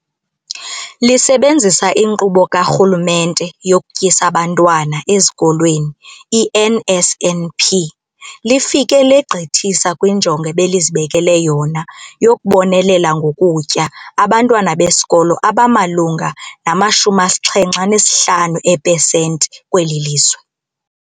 Lisebenzisa iNkqubo kaRhulumente yokuTyisa Abantwana Ezikolweni, i-NSNP, lifike legqithisa kwinjongo ebelizibekele yona yokubonelela ngokutya abantwana besikolo abamalunga nama-75 eepesenti kweli lizwe.